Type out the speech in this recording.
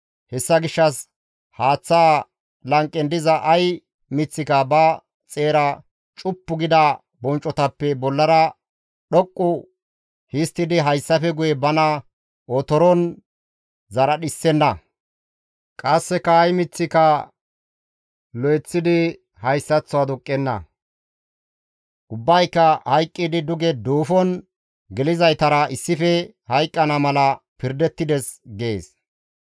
Hessa gishshas haaththa lanqen diza ay miththika ba xeera cuppu gida bonccotappe bollara dhoqqu histtidi hayssafe guye bana otoron zaradhissenna; qasseka ay miththika lo7eththidi hayssaththo aduqqenna; ubbayka hayqqidi duge duufon gelizaytara issife hayqqana mala pirdettides› gees.